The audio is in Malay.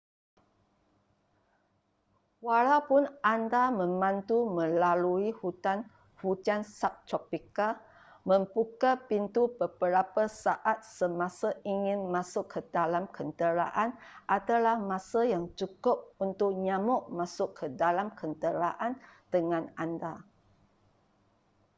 walaupun anda memandu melalui hutan hujan subtropika membuka pintu beberapa saat semasa ingin masuk ke dalam kenderaan adalah masa yang cukup untuk nyamuk masuk ke dalam kenderaan dengan anda